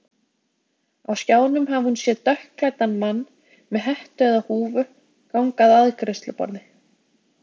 Á skjánum hafi hún séð dökkklæddan mann, með hettu eða húfu, ganga að afgreiðsluborði.